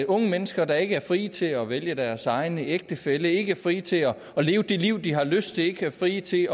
unge mennesker der ikke er frie til at vælge deres egen ægtefælle ikke frie til at leve det liv de har lyst til ikke frie til